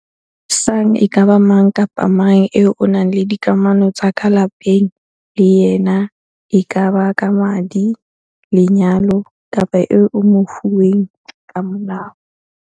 Sang e ka ba mang kapa mang eo o nang le dikamano tsa ka lapeng le yena e kaba ka madi, lenyalo kapa eo o mofuweng ka molao.